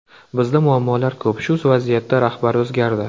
Bizda muammolar ko‘p, shu vaziyatda rahbar o‘zgardi.